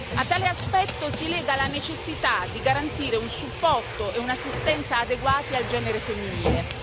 A tale aspetto si lega la necessità di garantire un supporto e un'assistenza adeguati al genere femminile.